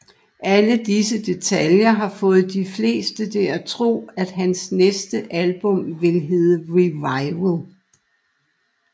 Alle disse detaljer har fået de fleste til at tro at hans næste album vil hedde Revival